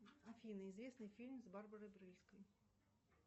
афина известный фильм с барбарой брыльской